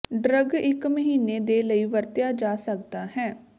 drug ਇੱਕ ਮਹੀਨੇ ਦੇ ਲਈ ਵਰਤਿਆ ਜਾ ਸਕਦਾ ਹੈ